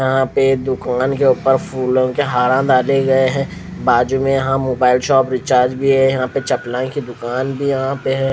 यहाँ पे दूकान के ऊपर फूलो के हारा डालें गए है बाजू में यह मोबाइल शॉप रिचाज भी है यहाँ पर चकना की दूकान भी यहाँ पर है।